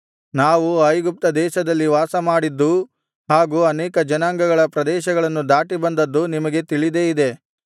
ನಾವು ಐಗುಪ್ತದೇಶದಲ್ಲಿ ವಾಸಮಾಡಿದ್ದೂ ಹಾಗೂ ಅನೇಕ ಜನಾಂಗಗಳ ಪ್ರದೇಶಗಳನ್ನು ದಾಟಿಬಂದದ್ದೂ ನಿಮಗೆ ತಿಳಿದೇ ಇದೆ